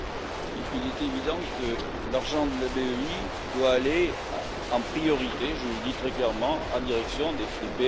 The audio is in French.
Il est évident que l'argent de la BEI doit aller en priorité je le dis très clairement en direction des PME.